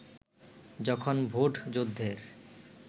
যখন ভোটযুদ্ধের